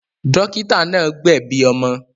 Dọ́kítá náà gbẹ̀bi ọmọ.